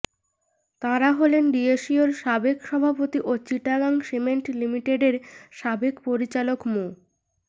তাঁরা হলেন ডিএসইর সাবেক সভাপতি ও চিটাগাং সিমেন্ট লিমিটেডের সাবেক পরিচালক মো